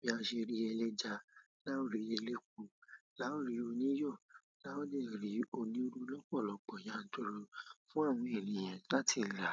bí a ṣe rí ẹlẹ́ja, láòrí ẹlẹku, láòrí oniyò, láò de rí onírú lọ́pọ̀lọ́pọ̀ yanturu fún àwọn ènìyàn láti rà.